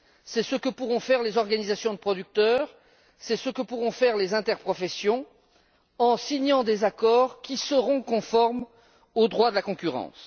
C'est ce que pourront faire les organisations de producteurs et les interprofessions en signant des accords qui seront conformes au droit de la concurrence.